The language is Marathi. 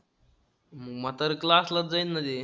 मग आता class लाच जाईन ना रे.